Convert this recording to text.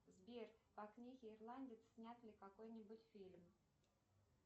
сбер по книге ирландец снят ли какой нибудь фильм